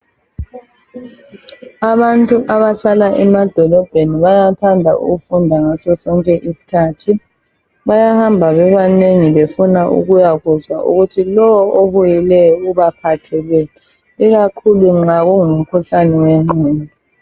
Abantu abahlala emadolobheni bayathanda ukufunda ngaso sonke isikhathi, bayahamba bebanengi befuna ukuya kuzwa ukuthi lowo obuyileyo ubaphatheleni. Ikakhulu nxa kungumkhuhlane wengqondo.